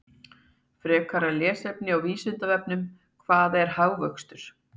Frekara lesefni á Vísindavefnum: Hvað er hagvöxtur?